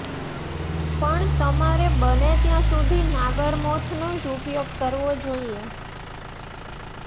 પણ તમારે બને ત્યાં સુધી નાગરમોથનો જ ઉપયોગ કરવો જોઈએ